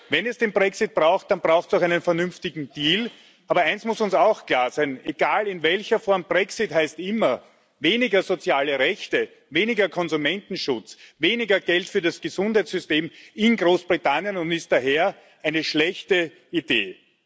Wenn es den Brexit braucht, dann braucht es auch einen vernünftigen Deal, aber eines muss uns auch klar sein Egal in welcher Form, Brexit heißt immer weniger soziale Rechte, weniger Konsumentenschutz, weniger Geld für das Gesundheitssystem in Großbritannien und ist daher eine schlechte Idee.